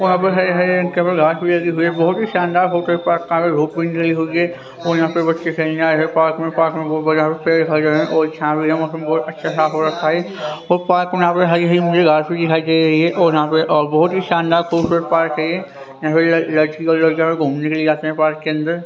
बहुत ही शानदार है पार्क के अंदर --